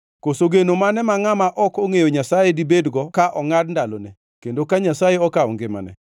Koso geno mane ma ngʼama ok ongʼeyo Nyasaye dibedgo ka ongʼad ndalone, kendo ka Nyasaye okawo ngimane?